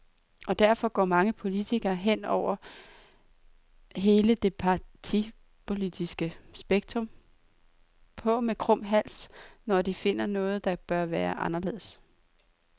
Og derfor går mange politikere, hen over hele det partipolitiske spektrum, på med krum hals, når de finder noget, der bør være anderledes.